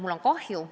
Mul on kahju.